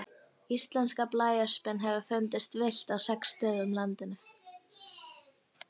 Íslenska blæöspin hefur fundist villt á sex stöðum á landinu.